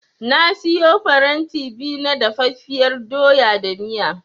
Na siyo faranti biyu na dafaffiyar doya da miya.